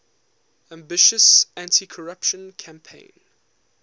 ambitious anticorruption campaign